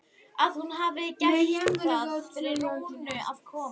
Að hún hafi bara gert það fyrir Rúnu að koma.